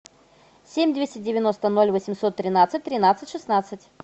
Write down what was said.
семь двести девяносто ноль восемьсот тринадцать тринадцать шестнадцать